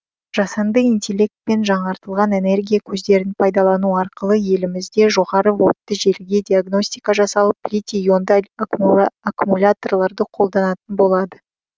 жасанды интеллект пен жаңартылған энергия көздерін пайдалану арқылы елімізде жоғары вольтты желіге диагностика жасалып литий ионды аккумуляторларды қолданатын болады